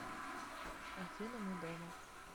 афина мы дома